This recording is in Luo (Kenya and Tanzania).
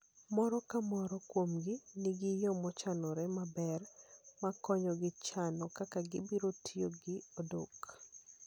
Moro ka moro kuomgi nigi yo mochanore maber ma konyogi chano kaka gibiro tiyo gi odok